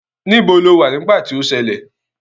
Níbo lo wà nígbà tí ó ṣẹlẹ̀?